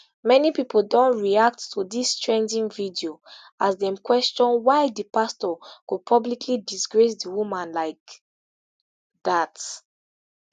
many pipo don react to dis trending video as dem question why di pastor go publicly disgrace di woman like dat